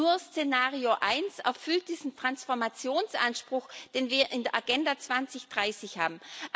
Nur Szenario 1 erfüllt diesen Transformationsanspruch, den wir in der Agenda 2030 haben.